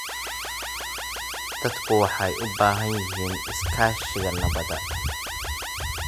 Dadku waxay u baahnaayeen iskaashiga nabadda.